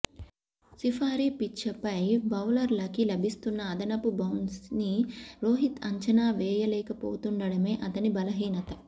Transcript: safari పిచ్లపై బౌలర్లకి లభిస్తున్న అదనపు బౌన్స్ని రోహిత్ అంచనా వేయలేకపోతుండటమే అతని బలహీనత